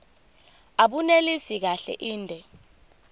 abunelisi kahle inde